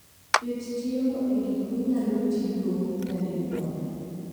Ket chiemo e gik minyalo tigo nyadinwoya.